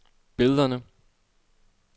billederne